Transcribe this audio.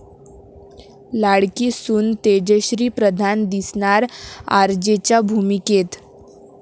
लाडकी सून तेजश्री प्रधान दिसणार 'आरजे'च्या भूमिकेत